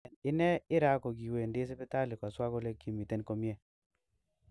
En ine Ira kogiwendi sipitali koswa kole kimiten komie.